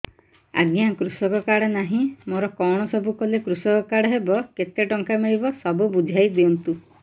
ଆଜ୍ଞା କୃଷକ କାର୍ଡ ନାହିଁ ମୋର କଣ ସବୁ କଲେ କୃଷକ କାର୍ଡ ହବ କେତେ ଟଙ୍କା ମିଳିବ ସବୁ ବୁଝାଇଦିଅନ୍ତୁ